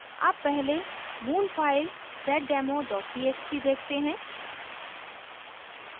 अब पहले मूल file seddemo txt देखते हैं